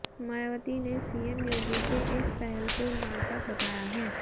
मायावती ने सीएम योगी के इस पहल को नाटक बताया है